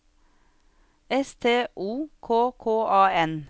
S T O K K A N